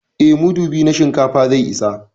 Eh, mudu biyu na shinkafa zai isa